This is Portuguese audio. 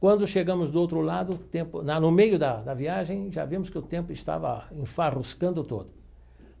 Quando chegamos do outro lado o tempo, na no meio da da viagem, já vimos que o tempo estava enfarruscando todo.